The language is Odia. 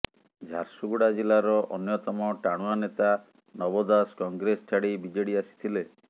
ଝାରସୁଗୁଡ଼ା ଜିଲ୍ଲାର ଅନ୍ୟତମ ଟାଣୁଆ ନେତା ନବ ଦାସ କଂଗ୍ରେସ ଛାଡ଼ି ବିଜେଡି ଆସିଥିଲେ